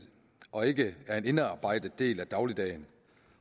og ikke er en indarbejdet del af dagligdagen